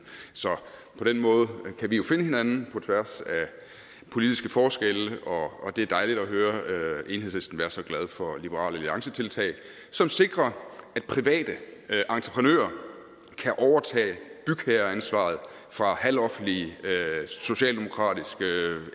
så på den måde kan vi jo finde hinanden på tværs af politiske forskelle og det er dejligt at høre enhedslisten være så glade for et liberal alliance tiltag som sikrer at private entreprenører kan overtage bygherreansvaret fra halvoffentlige socialdemokratiske